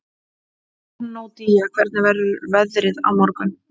Bernódía, hvernig verður veðrið á morgun?